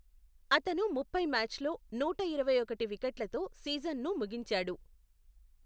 అతను ముప్పై మ్యాచ్ల్లో నూట ఇరవైఒకటి వికెట్లతో సీజన్ను ముగించాడు.